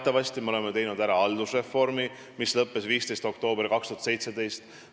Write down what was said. Teatavasti me oleme ära teinud haldusreformi, mis lõppes 15. oktoobril 2017.